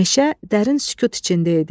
Meşə dərin sükut içində idi.